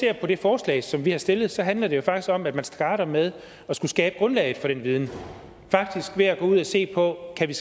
det forslag som vi har stillet handler jo faktisk om at man starter med at skulle skabe grundlaget for den viden ved at gå ud og se på kan